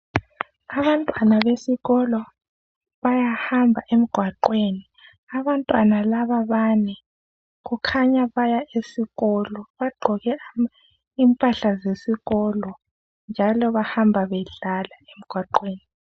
Izakhiwo zeUniversity ezinengi zakhiwe kuhle kakhulu, okutshengisela ukuthi kufunda abantu asebesezingeni eliphezulu bezoqeqetsha njalo abantu ababuya lapha bafika bafunde imisebenzi etshiyeneyo abanye bafundela ukuba ngodokotela abanye ababalisi. Kuhle kule indawo kuhlanzekile.